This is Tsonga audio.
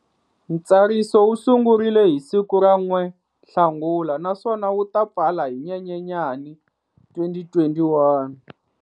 Ntsariso wu sungurile hi siku ra 1 Nhlangula naswona wu ta pfala hi Nyenyenyani 2021.